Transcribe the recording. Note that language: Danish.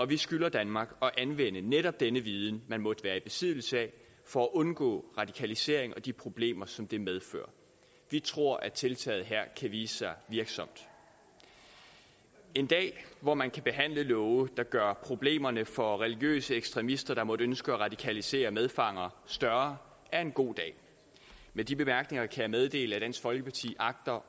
vi skylder danmark at anvende netop den viden man måtte være i besiddelse af for at undgå radikalisering og de problemer som det medfører vi tror at tiltaget her kan vise sig virksomt en dag hvor man kan behandle love der gør problemerne for religiøse ekstremister der måtte ønske at radikalisere medfanger større er en god dag med de bemærkninger kan jeg meddele at dansk folkeparti agter